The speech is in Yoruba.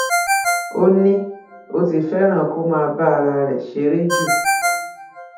ó ní ó ti fẹràn kó máa bá ara rẹ ṣeré jù